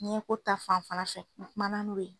Ɲɛko ta fanfɛla fɛ n kumana n'o ye